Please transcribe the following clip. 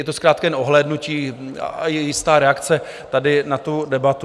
Je to zkrátka jen ohlédnutí a jistá reakce na tady tu debatu.